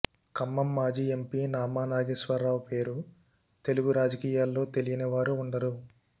ఖమ్మం మాజీ ఎంపీ నామా నాగేశ్వరరావు పేరు తెలుగు రాజకీయాల్లో తెలియని వారు ఉండరు